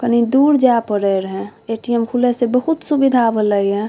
कनि दूर जाए परे रहे ए.टी.एम. खुले से बहुत सुविधा भेले ये।